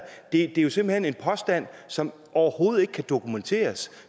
det er jo simpelt hen en påstand som overhovedet ikke kan dokumenteres